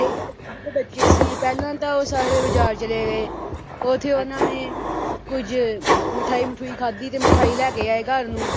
ਤੁਹਾਡੇ ਘਰ ਚ ਜਦੋਂ ਬੱਚੇ ਸੀ ਪਹਿਲਾਂ ਤਾਂ ਉਹ ਸਾਰੇ ਬਜ਼ਾਰ ਚਲੇ ਗਏ ਉੱਥੇ ਉਨ੍ਹਾਂ ਨੇ ਕੁਝ ਮਿਠਾਈ-ਮਿਠੂਈ ਖਾਧੀ ਤੇ ਮਿਠਾਈ ਲੈ ਕੇ ਆਏ ਘਰ ਨੂੰ